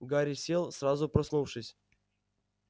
гарри сел сразу проснувшись